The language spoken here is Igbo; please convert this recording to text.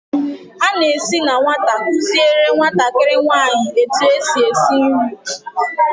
a na-esi na nwata, kuziere nwatakịrị nwanyị etu esi esi nri.